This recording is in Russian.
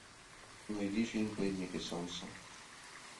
найди фильм пленники солнца